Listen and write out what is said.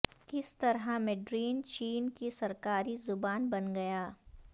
کس طرح میڈرین چین کی سرکاری زبان بن گیا